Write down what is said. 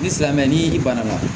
Ni silamɛ ni i bana la